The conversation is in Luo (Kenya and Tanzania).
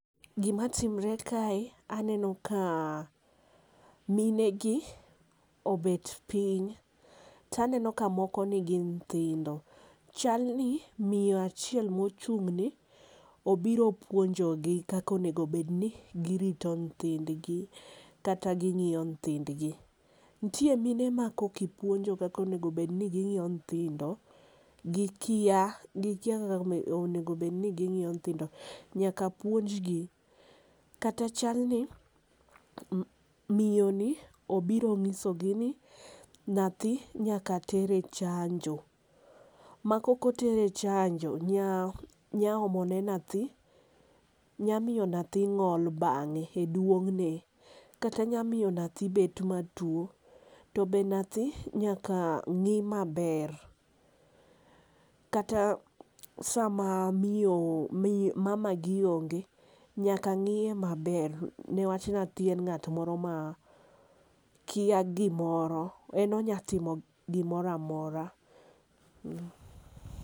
Gi ma timre kae aneno ka mine gi obet piny to aneno ka moko ni gi nyithindo chal ni miyo achiel mochung ni obiro puonjo gi kaka onego bed ni gi rito nyithind gi kata gi ngiyo nyithind gi. Nitie mine ma kok ipuonjo kaka gi ngiyo nyithindo gi kia gi kia kaka onego bed ni gi ng'iyo nyithindo nyaka puonj gi. Kata chal ni miyo ni obiro ng'iso gi ni nyathi nyaka ter e chanjo ma kok oter e chanjo nya nya omo ne nyathi, nya miyo nyathi ng'ol bang'e e duongne kata nya miyo nyathi bet ma tuo to be nyathi nyaka ng'i ma ber ma kata saa ma miyo mama gi onge nyathi nyaka ng'i ma ber .Ne wach nyathi en ng'at moro ma kia gi moro en onya timo gi moro amora.